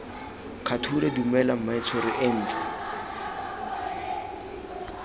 kgature dumela mmaetsho re ntse